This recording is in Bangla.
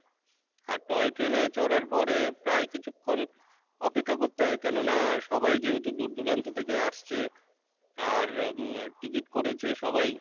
আর toy train এ চরার পরে প্রায় কিছুক্ষণ অপেক্ষা করতে হয় কেননা সবাই যেহেতু দূরদূরান্ত থেকে আসছে আর উম ticket করেছে সবাই